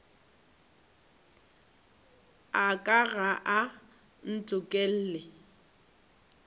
a ka ga a ntokolle